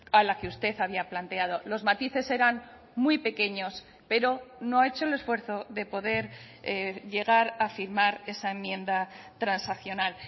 a la que usted había planteado los matices eran muy pequeños pero no ha hecho el esfuerzo de poder llegar a firmar esa enmienda transaccional